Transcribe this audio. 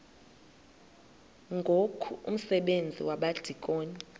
ngoku umsebenzi wabadikoni